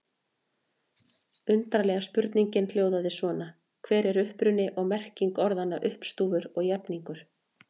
Upprunalega spurningin hljóðaði svona: Hver er uppruni og merking orðanna uppstúfur og jafningur?